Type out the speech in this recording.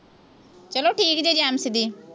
ਚੱਲੋ ਠੀਕ ਜੇ ਜੈ ਦੀ